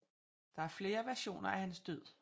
Der er flere versioner af hans død